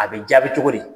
A bɛ jaabi cogo di